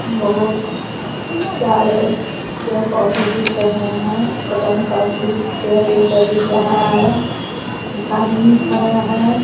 बहुत सारे पेड़ पौधे दिख रहे हैं | कदम का भी पेड़ जैसा दिख रहा है | एक आदमी खड़ा है |